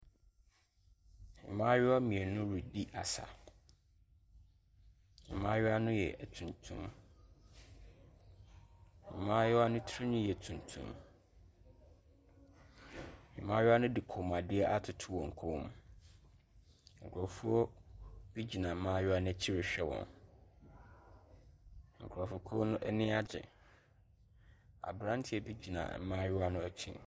Mmaayewa mmienu redi asa. Mmaayewa no yɛ atuntum. Maayewa no tirinwi yɛ tuntum. Mmaayewa no de kɔnmuadeɛ atoto wɔn kɔn mu. Nkurɔfoɔ bi gyina mmaayewa no akyi rehwɛ wɔn nkurɔfokuo no ani agye. Aberanteɛ bi gyina mmayewa no akyi.